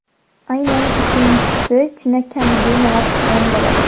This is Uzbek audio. Aynan uchinchisi chinakamiga innovatsion bo‘ladi.